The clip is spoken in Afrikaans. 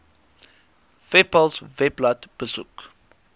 webpals webblad besoek